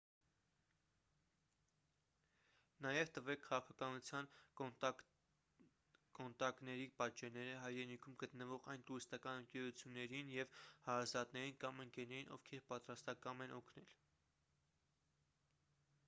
նաև տվե՛ք քաղաքականության/կոնտակների պատճենները հայրենիքում գտնվող այն տուրիստական ընկերություններին և հարազատներին կամ ընկերներին ովքեր պատրաստակամ են օգնել: